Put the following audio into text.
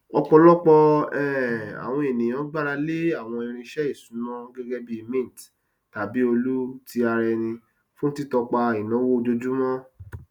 ọpọlọpọ um àwọn ènìyàn gbára lé àwọn irinṣẹ iṣúná gẹgẹ bí mint tàbí olu tí ara ẹni fún títọpa ináwó ojoojúmọ